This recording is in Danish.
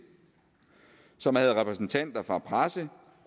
som havde repræsentanter fra presse